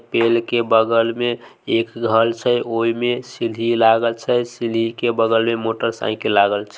पेड़ के बगल में एक घर छै ओय में सीढ़ी लागल छै सीढ़ी के बगल में मोटरसाइकिल लागल छै।